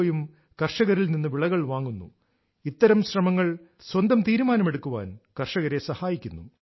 ഒയും കർഷകരിൽ നിന്ന് വിളകൾ വാങ്ങുന്നു ഇത്തരം ശ്രമങ്ങൾ സ്വന്തം തീരുമാനമെടുക്കാൻ കർഷകരെ സഹായിക്കുന്നു